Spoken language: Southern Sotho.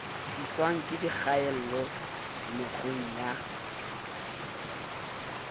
tliswang ke dikgaello mekgweng ya